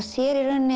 sér